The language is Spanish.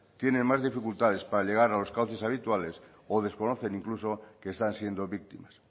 tienen más dificultades para llegar a los cauces habituales o desconocen incluso que están siendo víctimas